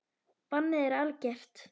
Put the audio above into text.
Bannið er algert.